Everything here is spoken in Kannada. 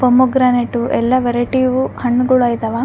ಪೊಮೊಗ್ರನೇಟ್ವು ಎಲ್ಲ ವೆರೈಟಿವು ಹಣ್ಣುಗುಳ್ ಇದವ.